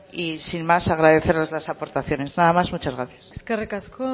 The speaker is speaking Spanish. y sin más agradeceros las aportaciones nada más muchas gracias eskerrik asko